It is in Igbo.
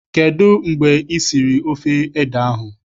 Kedụ mgbe I siri ofe ede ahụ?